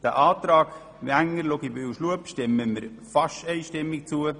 Dem Antrag Wenger, Luginbühl und Schlup stimmen wir fast einstimmig zu.